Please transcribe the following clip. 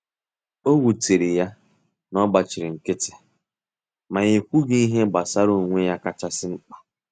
Owutere ya na ogbachiri nkiti, ma e kwughi ihe gbasara onwe ya kacha si mpka.